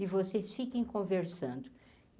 E vocês fiquem conversando.